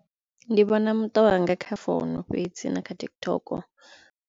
Ndi vhona muṱa wanga kha founu fhedzi na kha TikTok.